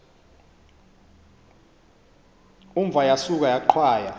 umva yasuka yaqhwaya